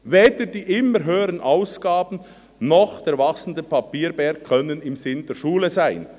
Weder die immer höheren Ausgaben noch der wachsende Papierberg können im Sinn der Schule sein.